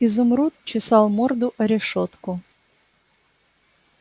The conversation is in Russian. изумруд чесал морду о решётку